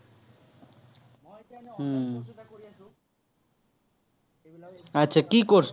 কি course